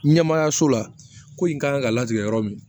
Ɲɛmaayaso la ko in kan ka latigɛ yɔrɔ min